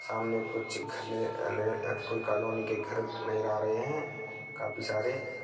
सामने कुछ घने लगे कोई कॉलोनी के घर नजर आ रहे हैं काफी सारे।